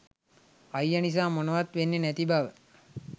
අයිය නිසා මොනවත් වෙන්නේ නැති බව